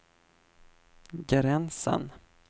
gränsen